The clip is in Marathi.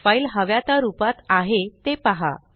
फाइल हव्या त्या रूपात आहे ते पहा